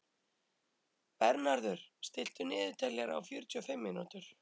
Bernharður, stilltu niðurteljara á fjörutíu og fimm mínútur.